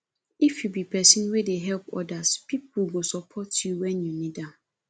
if you be pesin wey dey help odas pipo go support you wen you need am